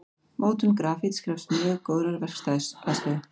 Mótun grafíts krefst mjög góðrar verkstæðisaðstöðu.